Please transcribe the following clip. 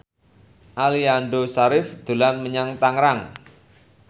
Aliando Syarif dolan menyang Tangerang